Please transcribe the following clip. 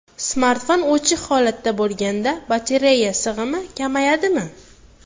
Smartfon o‘chiq holatda bo‘lganda batareya sig‘imi kamayadimi?